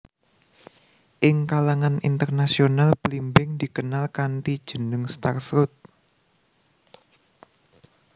Ing kalangan internasional blimbing dikenal kanthi jeneng star fruit